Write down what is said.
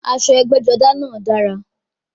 Aṣọ ẹgbẹ́-jọdá náà dára.